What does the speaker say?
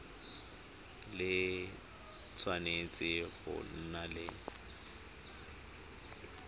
le tshwanetse go nna le